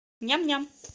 ням ням